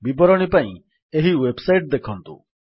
ବିବରଣୀ ପାଇଁ ଏହି ୱେବ୍ ସାଇଟ୍ ଦେଖନ୍ତୁ